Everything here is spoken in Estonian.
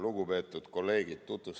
Lugupeetud kolleegid!